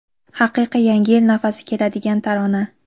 Haqiqiy yangi yil nafasi keladigan tarona..